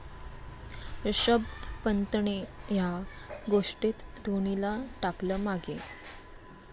ऋषभ पंतने 'या' गोष्टीत धोनीला टाकलं मागे